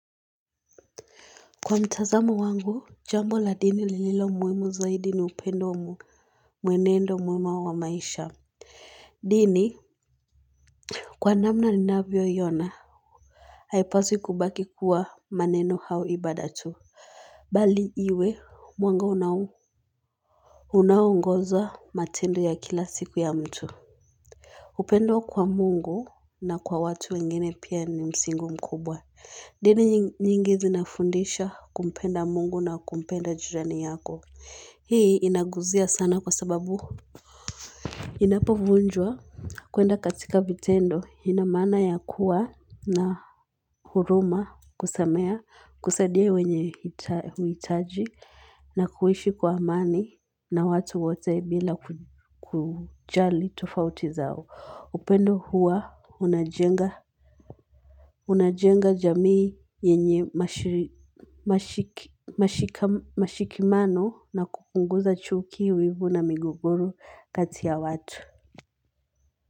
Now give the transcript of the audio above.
Kwa mtazamo wangu, jambo la dini lililo muhimu zaidi ni upendo wa mwenendo mwema wa maisha, Dini Kwa namna ninavyo iona Haipaswi kubaki kuwa maneno au ibada tu Bali iwe mwanga unao Unaongoza matendo ya kila siku ya mtu upendo kwa mungu na kwa watu wengine pia ni msingi mkubwa Dini nyingi zina fundisha kumpenda mungu na kumpenda jirani yako Hii inaguzia sana kwa sababu inapovunjwa kwenda katika vitendo inamaana ya kuwa na huruma kusameheana kusadia wenye uhitaji na kuishi kwa amani na watu wote bila kujali tofauti zao. Upendo huwa unajenga Unajenga jamii yenye mashikamano na kupunguza chuki, wivu na migogoro kati ya watu.